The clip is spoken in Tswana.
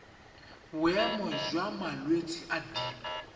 boemo jwa malwetse a dip